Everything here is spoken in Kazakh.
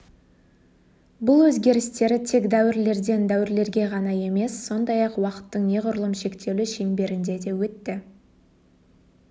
бұл өзгерістер тек дәуірлерден дәуірлерге ғана емес сондай-ақ уақыттың неғұрлым шектеулі шеңберінде де өтті